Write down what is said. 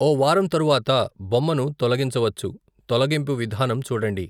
ఓ వారం తరువాత బొమ్మను తొలగించవచ్చు తొలగింపు విధానం చూడండి.